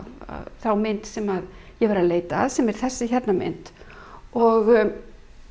þá mynd sem ég var að leita að sem er þessi mynd og